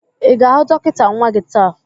Ị ga-ahụ dọkịta nwa gị taa?